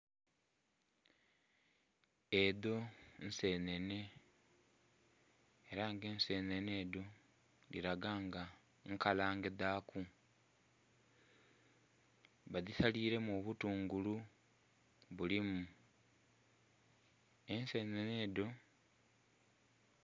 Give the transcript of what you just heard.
Edho nsenhenhe, era nga ensenhenhe edho dhiraga nga nkalange dhaku badhisaliremu obutungulu bulimu. Ensenhenhe edho...